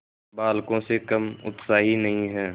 बालकों से कम उत्साही नहीं है